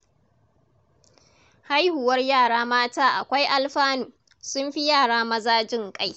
Haihuwar yara mata akwai alfanu. Sun fi yara maza jin ƙai.